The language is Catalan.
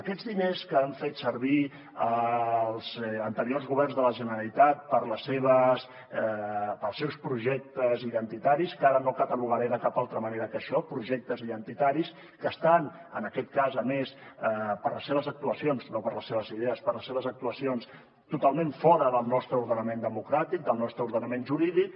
aquests diners que han fet servir els anteriors governs de la generalitat per als seus projectes identitaris que ara no catalogaré de cap altra manera que això projectes identitaris que estan en aquest cas a més per les seves actuacions no per les seves idees per les seves actuacions totalment fora del nostre ordenament democràtic del nostre ordenament jurídic